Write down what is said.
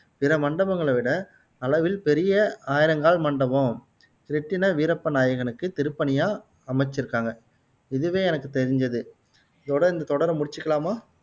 பிற மண்டபங்களை விட அளவில் பெரிய ஆயிரங்கால் மண்டபம், கிருட்டிண வீரப்ப நாயகனுக்கு திருப்பணியா அமைச்சுருக்காங்க இதுவே எனக்கு தெரிஞ்சது இதோட இந்த தொடரை முடிச்சுக்கலாமா